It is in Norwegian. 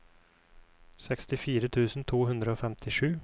sekstifire tusen to hundre og femtisju